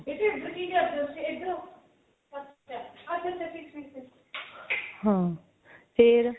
ਹਾਂ ਫੇਰ